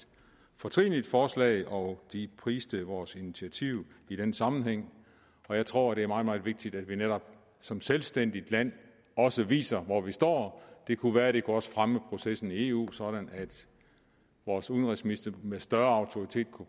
fortrinligt forslag og de priser vores initiativ i den sammenhæng jeg tror det er meget meget vigtigt at vi netop som selvstændigt land også viser hvor vi står det kunne være at det også kunne fremme processen i eu sådan er vores udenrigsminister med større autoritet kunne